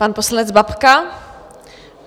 Pan poslanec Babka.